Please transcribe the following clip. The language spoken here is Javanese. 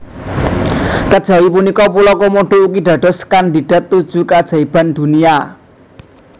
Kajawi punika pulo Komodo ugi dados kandidat tujuh keajaiban dunia